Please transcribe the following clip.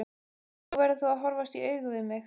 Nú verður þú að horfast í augu við mig.